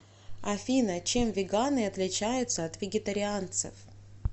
афина чем веганы отличаются от вегетарианцев